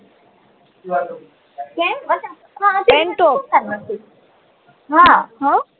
કેમ હા હમ